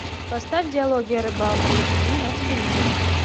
поставь диалоги о рыбалке эйч ди на телевизоре